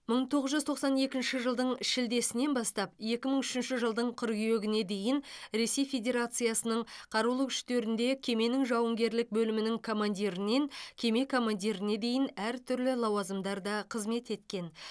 мың тоғыз жүз тоқсан екінші жылдың шілдесінен бастап екі мың үшінші жылдың қыркүйегіне дейін ресей федерациясының қарулы күштерінде кеменің жауынгерлік бөлімінің командирінен кеме командиріне дейін әртүрлі лауазымдарда қызмет еткен